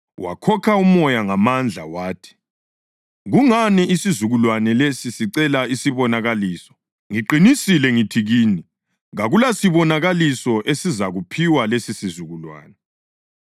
Wakhokha umoya ngamandla wathi, “Kungani isizukulwane lesi sicela isibonakaliso? Ngiqinisile ngithi kini, kakulasibonakaliso esizakuphiwa lesisizukulwane.”